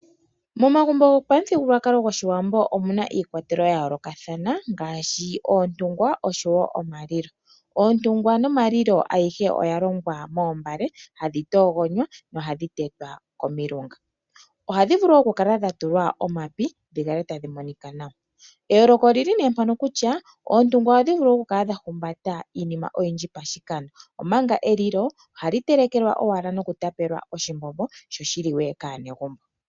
Momagumbo gopamuthigululwakalo gOshiwambo omu na iikwatelwa yomaludhi ga yoolokathana ngaashi oontungwa oshowo omalilo. Oontungwa nomalilo ayihe oya longwa moombale hadhi toogonywa nohadhi tetwa komilunga. Ohadhi vulu okukala dha tulwa omapi dhi kale tadhi monika nawa. Eyooloko oli li nee mpaka kutya oontungwa ohadhi vulu okukala dha humbatelwa iinima oyindji pashikando, omanga elilo ohali telekelwa owala nokutapelwa oshimbombo sho shi liwe kaanegumbo.